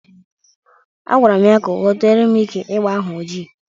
Agbara m ya ka o teere m ike egbe ahụ oji.